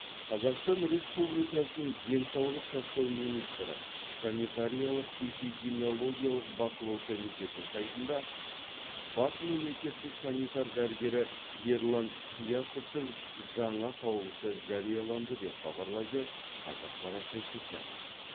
қзақстан республикасының денсаулық сақтау министрі санитариялық эпидемиологиялық бақылау комитеті сайтында бас мемлекеттік санитар дәрігері ерлан қиясовтың жаңа қаулысы жарияланды деп хабарлайды қазақпарат тілшісі